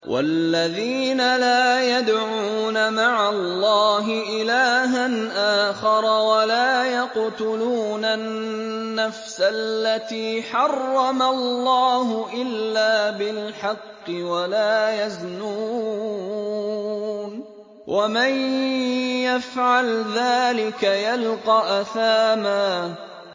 وَالَّذِينَ لَا يَدْعُونَ مَعَ اللَّهِ إِلَٰهًا آخَرَ وَلَا يَقْتُلُونَ النَّفْسَ الَّتِي حَرَّمَ اللَّهُ إِلَّا بِالْحَقِّ وَلَا يَزْنُونَ ۚ وَمَن يَفْعَلْ ذَٰلِكَ يَلْقَ أَثَامًا